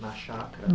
Na Chácara.